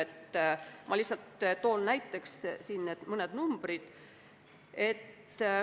Ma toon lihtsalt näiteks mõned numbrid.